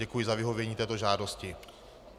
Děkuji za vyhovění této žádosti.